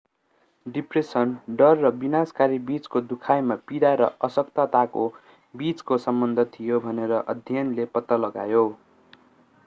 depression डर र विनाशकारी बिचको दुखाइमा पीडा र अशक्तताको बिचको सम्बन्ध थियो भनेर अध्ययनले पत्ता लगायो